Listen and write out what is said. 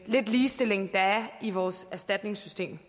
lidt ligestilling der er i vores erstatningssystem